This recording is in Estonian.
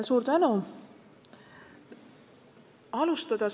Suur tänu!